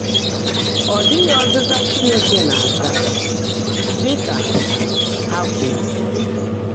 “Ọ́ ḍị́ghị́ ọ́zị́zã Chínekè ná-ázá,” dị́ kà há kwùrú.